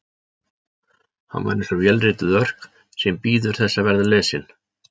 Hann var eins og vélrituð örk sem bíður þess að verða lesin.